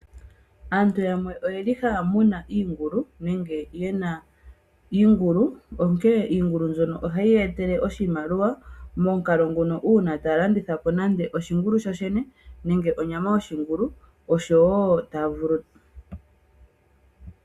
Aantu yamwe oyeli haya munu iingulu, nenge ye na iingulu. Onkene iingulu mbyono ohayi ya etele oshimaliwa, momukalo ngono uuna taya landitha po nande oshingulu shooshene, nenge onyama yoshingulu.